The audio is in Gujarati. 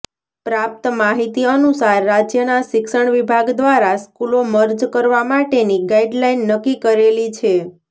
પ્રાપ્ત માહિતી અનુસાર રાજ્યના શિક્ષણ વિભાગ દ્વારા સ્કૂલો મર્જ કરવા માટેની ગાઈડલાઈન નક્કી કરેલી છે